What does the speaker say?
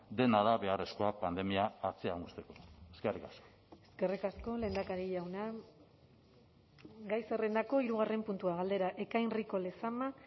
dena da beharrezkoa pandemia atzean uzteko eskerrik asko eskerrik asko lehendakari jauna gai zerrendako hirugarren puntua galdera ekain rico lezama